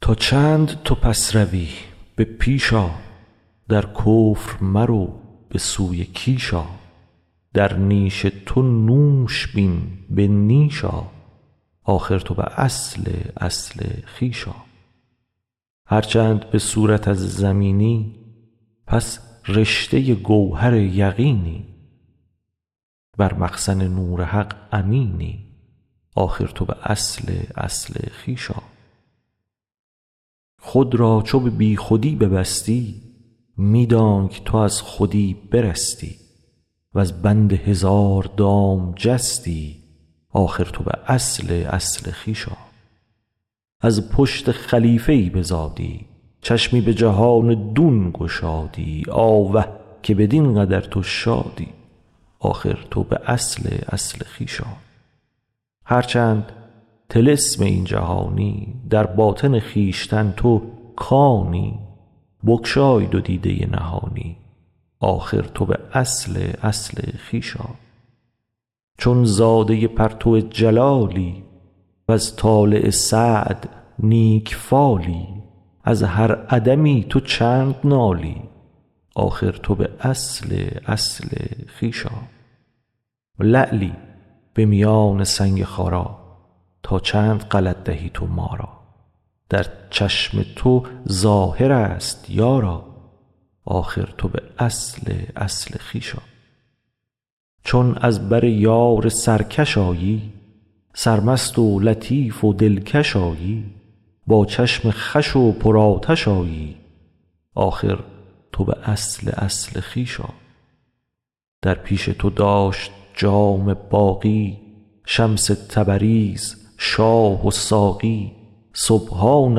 تا چند تو پس روی به پیش آ در کفر مرو به سوی کیش آ در نیش تو نوش بین به نیش آ آخر تو به اصل اصل خویش آ هر چند به صورت از زمینی پس رشته گوهر یقینی بر مخزن نور حق امینی آخر تو به اصل اصل خویش آ خود را چو به بی خودی ببستی می دانک تو از خودی برستی وز بند هزار دام جستی آخر تو به اصل اصل خویش آ از پشت خلیفه ای بزادی چشمی به جهان دون گشادی آوه که بدین قدر تو شادی آخر تو به اصل اصل خویش آ هر چند طلسم این جهانی در باطن خویشتن تو کانی بگشای دو دیده نهانی آخر تو به اصل اصل خویش آ چون زاده پرتو جلالی وز طالع سعد نیک فالی از هر عدمی تو چند نالی آخر تو به اصل اصل خویش آ لعلی به میان سنگ خارا تا چند غلط دهی تو ما را در چشم تو ظاهر ست یارا آخر تو به اصل اصل خویش آ چون از بر یار سرکش آیی سرمست و لطیف و دلکش آیی با چشم خوش و پر آتش آیی آخر تو به اصل اصل خویش آ در پیش تو داشت جام باقی شمس تبریز شاه و ساقی سبحان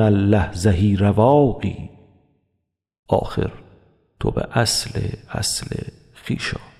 الله زهی رواقی آخر تو به اصل اصل خویش آ